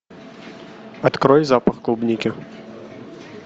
открой запах клубники